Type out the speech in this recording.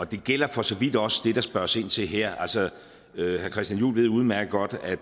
det gælder for så vidt også det der spørges ind til her altså herre christian juhl ved udmærket godt at